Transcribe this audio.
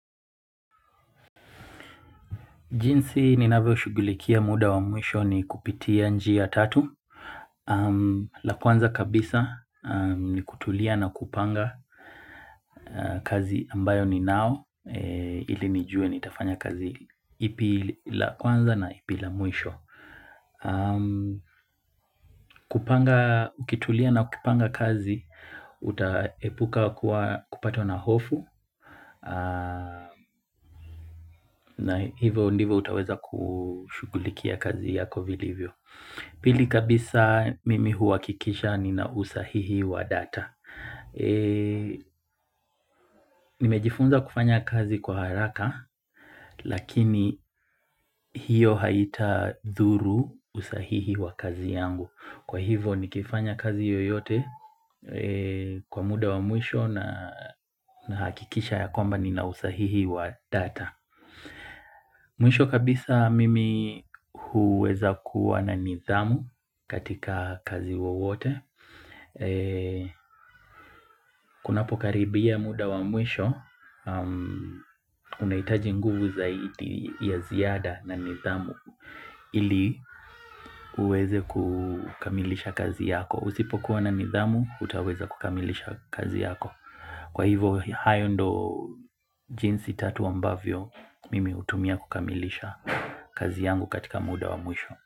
Jinsi ninawevyo shugulikia muda wa muisho ni kupitia nji ya tatu. La kwanza kabisa ni kutulia na kupanga kazi ambayo ni nao ili nijue ni tafanya kazi ipi la kwanza na ipi la muisho. Kupanga na ukitulia kupanga kazi utaepuka kuwa kupata na hofu na hivyo ndivyo utaweza kushugulikia kazi yako vilivyo. Pili kabisa mimi huwakikisha ni na usahihi wa data. Nimejifunza kufanya kazi kwa haraka lakini hiyo haita dhuru usahihi wa kazi yangu. Kwa hivo nikifanya kazi yoyote kwa muda wa muisho na hakikisha ya kwamba ni na usahihi wa data. Mwisho kabisa mimi huweza kuwa na nidhamu katika kazi wowote. Kunapo karibia muda wa mwisho, unahitaji nguvu zaidi ya ziada na nidhamu ili uweze kukamilisha kazi yako. Usipo kuwa na nidhamu, utaweza kukamilisha kazi yako. Kwa hivo hayo ndo jinsi tatu ambavyo mimi utumia kukamilisha kazi yangu katika muda wa mwisho.